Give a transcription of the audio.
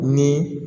Ni